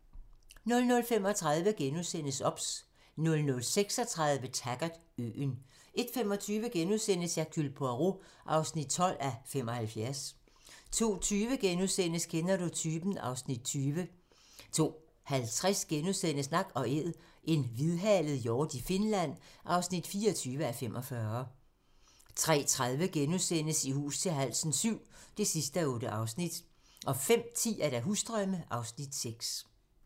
00:35: OBS * 00:36: Taggart: Øen 01:25: Hercule Poirot (12:75)* 02:20: Kender du typen? (Afs. 20)* 02:50: Nak & æd - en hvidhalet hjort i Finland (24:45)* 03:30: I hus til halsen VII (8:8)* 05:10: Husdrømme (Afs. 6)